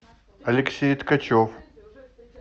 алексей ткачев